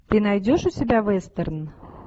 ты найдешь у себя вестерн